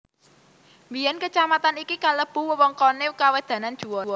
Biyén kacamatan iki kelebu wewengkoné kawedanan Juwana